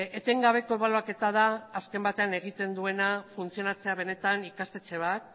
etengabeko ebaluaketa da azken batean egiten duena funtzionatzea benetan ikastetxe bat